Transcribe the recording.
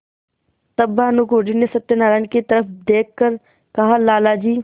तब भानुकुँवरि ने सत्यनारायण की तरफ देख कर कहालाला जी